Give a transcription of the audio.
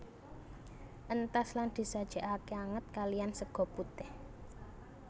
Entas lan disajekake anget kaliyan sega putih